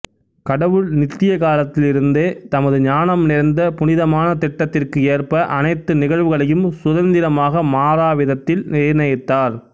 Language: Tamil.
கடவுள் நித்திய காலத்திலிருந்தே தமது ஞானம் நிறைந்த புனிதமான திட்டத்திற்கு ஏற்ப அனைத்து நிகழ்வுகளையும் சுதந்திரமாக மாறாவிதத்தில் நிர்ணயித்தார்